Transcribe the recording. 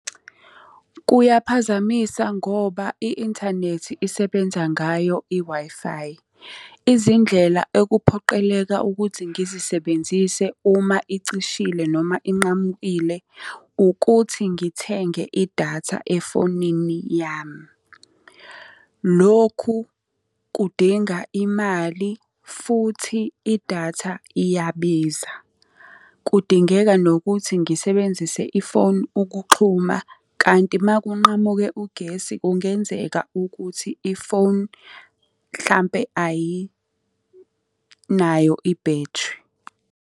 Kuyaphazamisa ngoba i-inthanethi isebenza ngayo i-Wi-Fi. Izindlela ekuphoqeleka ukuthi ngizisebenzise uma icishile noma inqamukile ukuthi ngithenge idatha efonini yami. Lokhu kudinga imali futhi idatha iyabiza. Kudingeka nokuthi ngisebenzise ifoni ukuxhuma kanti uma kunqamuke ugesi kungenzeka ukuthi ifoni mhlampe ayinayo ibhethri.